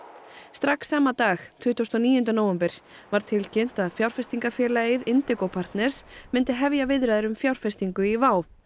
strax sama dag tuttugasta og níunda nóvember var tilkynnt að fjárfestingafélagið partners myndi hefja viðræður um fjárfestingu í WOW